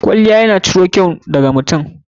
Kwalliya ya na ciro kyau da ga mutum.